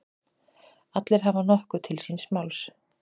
Allir hafa nokkuð til síns máls.